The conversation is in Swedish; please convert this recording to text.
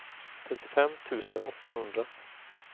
trettiofem tusen åttahundra